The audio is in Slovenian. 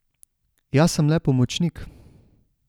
Jaz sem le pomočnik.